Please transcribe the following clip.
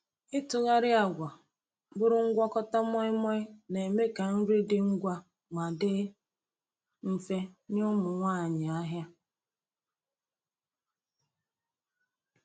Ịtụgharị agwa bụrụ ngwakọta moi moi na-eme ka nri dị ngwa ma dị mfe nye ụmụ nwanyị ahịa.